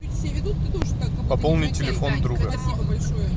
пополнить телефон друга